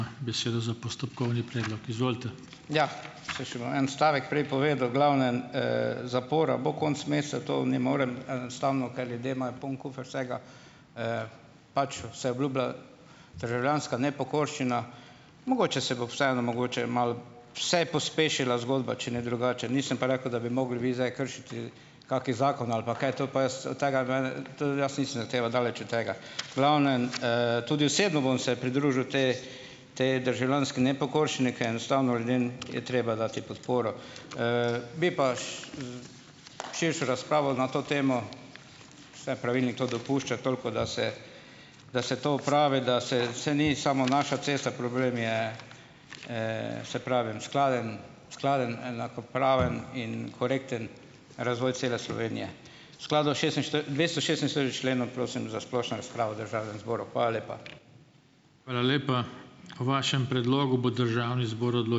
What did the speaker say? Ja, samo še bom en stavek prej povedal. V glavnem, zapora bo konec meseca, to ne morem enostavno, ker ljudje imajo poln kufer vsega, pač se obljublja državljanska nepokorščina. Mogoče se bo vseeno, mogoče je malo vse pospešila zgodba, če ne drugače, nisem pa rekel, da bi mogli vi zdaj kršiti kaki zakon ali pa kaj, to pa jaz, tega v glavnem, to jaz nisem zahteval, daleč od tega. V glavnem, tudi osebno bom se pridružil tej potem državljanski nepokorščini, ker enostavno ljudem je treba dati podporo. Bi pa širšo razpravo na to temo, saj pravilnik to dopušča, toliko da se, da se to opravi, da se, saj ni samo naša cesta, problem je, saj pravim, skladen, skladen enakopraven in korekten razvoj cele Slovenije. V skladu s členom prosim za splošno razpravo v državnem zboru. Hvala lepa.